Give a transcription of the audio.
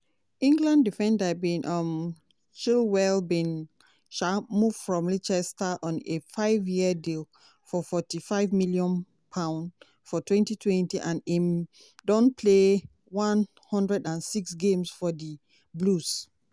england defender ben um chilwell bin um move from leicester on a five-year deal for forty-five million pound for twenty twenty and im don play one hundred and six games for di blues.